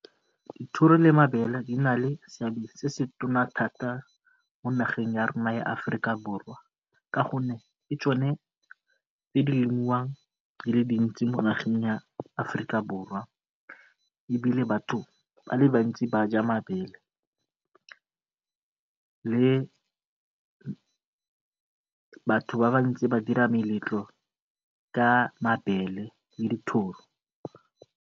Dithoro le mabele di na le seabe se se thata mo nageng ya rona ya Aforika Borwa ka gonne ke tsone tse di lemiwang di le dintsi mo nageng ya Aforika Borwa ebile batho ba le bantsi ba ja mabele mme batho ba le bantsi ba dira meletlo ka mabele le dithoro.